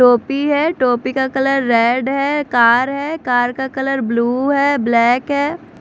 टोपी है टोपी का कलर रेड है कार है कार का कलर ब्लू है ब्लैक है।